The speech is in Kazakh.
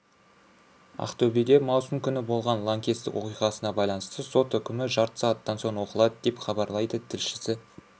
ақтөбеде маусым күні болған лаңкестік оқиғасына байланысты сот үкімі жарты сағаттан соң оқылады деп хабарлайды тілшісі